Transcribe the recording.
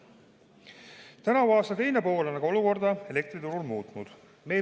Tänavuse aasta teine pool on aga olukorda elektriturul muutnud.